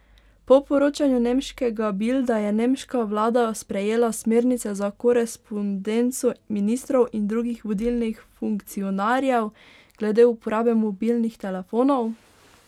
Po poročanju nemškega Bilda je nemška vlada sprejela smernice za korespondenco ministrov in drugih vodilnih funkcionarjev glede uporabe mobilnih telefonov.